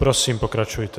Prosím, pokračujte.